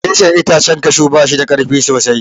Reshen itacen kashu ba shida karfi sosai.